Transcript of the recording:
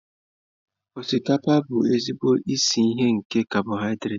Osikapa bụ ezigbo isi iyi nke cabọhidrat.